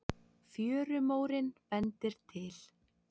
Fjörumórinn bendir til